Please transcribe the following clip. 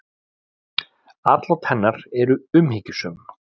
Atlot hennar eru umhyggjusöm.